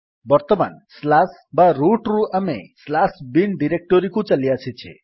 ବର୍ତ୍ତମାନ ବା ରୁଟ୍ ରୁ ଆମେ bin ଡିରେକ୍ଟୋରୀକୁ ଚାଲିଆସିଛେ